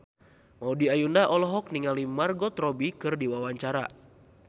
Maudy Ayunda olohok ningali Margot Robbie keur diwawancara